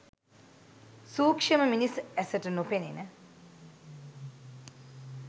සූක්‍ෂම මිනිස් ඇසට නොපෙනෙන